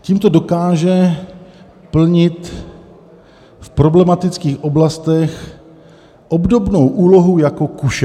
"Tímto dokáže plnit v problematických oblastech obdobnou úlohu jako kuše.